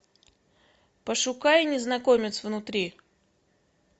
пошукай незнакомец внутри